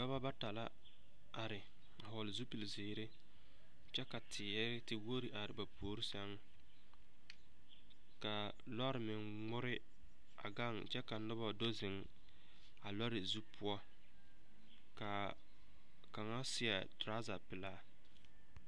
Dɔba bata la are a vɔgle zupilzeere kyɛ ka teɛ tewogi are a ba puori sɛŋ ka lɔɔre meŋ ŋmore a gaŋ kyɛ ka noba do zeŋ a lɔɔre zu poɔ soga ka a ka a kaŋa seɛ torɔza pelaa.